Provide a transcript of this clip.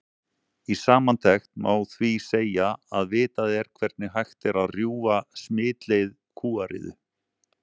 Í samantekt má því segja að vitað er hvernig hægt er að rjúfa smitleið kúariðu.